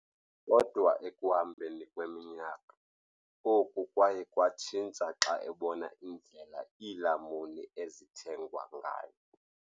Kodwa ekuhambeni kweminyaka, oku kwaye kwatshintsha xa ebona indlela iilamuni ezithengwa ngayo.